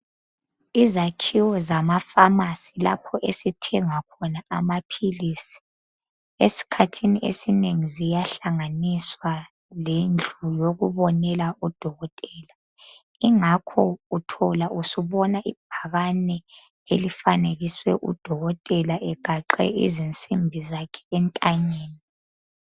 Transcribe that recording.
Izakhiwo zama"pharmacy" lapho esithenga khona amaphilisi esikhathini esinengi ziyahlanganiswa lendlu yokubonela odokotela. Yingakho uthola usubona ibhakane elifanekiswe udokotela egaxe izinsimbi zakhe entanyeni.